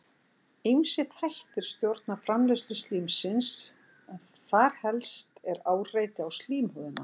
Ýmsir þættir stjórna framleiðslu slímsins en þar helst er áreiti á slímhúðina.